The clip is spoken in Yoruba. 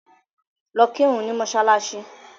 Lọ kírun ni mọ́ṣáláṣì.